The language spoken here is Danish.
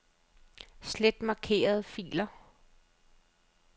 Slet markerede filer.